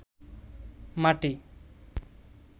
মাটি